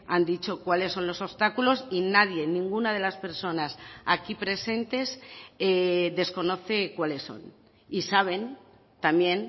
han dicho cuáles son los obstáculos y nadie ninguna de las personas aquí presentes desconoce cuáles son y saben también